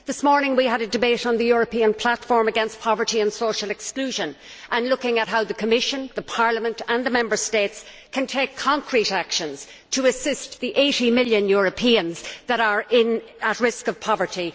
This morning we had a debate on the European Platform against Poverty and Social Exclusion, looking at how the Commission, the Parliament and the Member States can take concrete actions to assist the 80 million Europeans that are at risk of poverty.